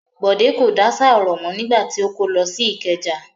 Bọ̀dé kò dáṣà ọ̀rọ̀ mọ́ nígbà tí ó kó lọ sí Ìkẹjà.